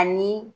Ani